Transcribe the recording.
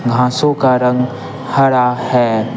घांसों का रंग हरा है।